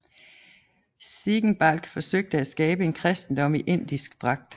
Ziegenbalg forsøgte at skabe en kristendom i indisk dragt